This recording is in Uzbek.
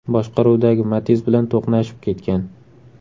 boshqaruvidagi Matiz bilan to‘qnashib ketgan.